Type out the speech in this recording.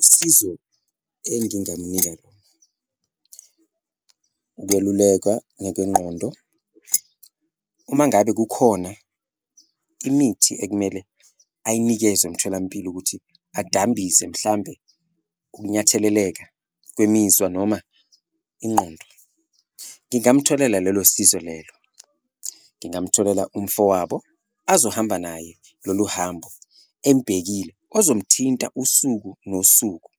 Usizo engingamnika lona ukwelulekwa ngekwengqondo uma ngabe kukhona imithi ekumele ayinikezwe emtholampilo ukuthi adambise mhlambe ukunyatheleleka kwemizwa noma ingqondo. Ngingamtholela lolo sizo lelo, ngingamtholela umfowabo azohamba naye lolu hambo embhekile, ozomthinta usuku nosuku,